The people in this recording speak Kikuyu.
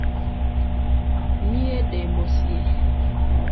Nie ndĩ mũciĩ